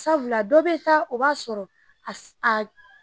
Sabula dɔ be taa o b'a sɔrɔ a